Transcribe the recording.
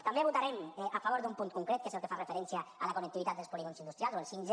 també votarem a favor d’un punt concret que és el que fa referència a la connectivitat dels polígons industrials o el 5g